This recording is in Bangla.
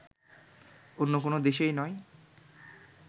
অন্য কোন দেশেই নয়